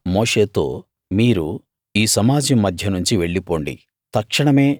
యెహోవా మోషేతో మీరు ఈ సమాజం మధ్య నుంచి వెళ్ళి పొండి